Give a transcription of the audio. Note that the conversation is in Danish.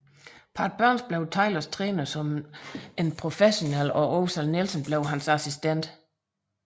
Pat Burns blev Taylors træner som en professionel og Ozell Nelson blev hans assistent